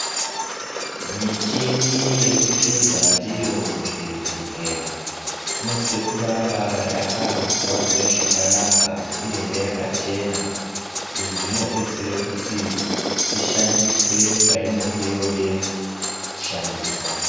Michini yekuhluza ndiyo muzvibhehleya inosise kuramba yakangwarirwe zvakanaka uyehe ,yakachena. Izvi zvinodetsere kuti ishandiswe painenge yooda kushandiswa.